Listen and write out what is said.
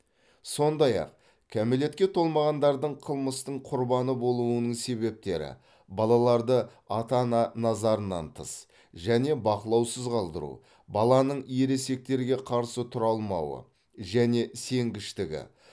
сондай ақ кәмелетке толмағандардың қылмыстың құрбаны болуының себептері балаларды ата ана назарынан тыс және бақылаусыз қалдыру баланың ересектерге қарсы тұра алмауы және сенгіштігі